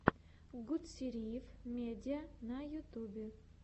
гутсериев медиа на ютьюбе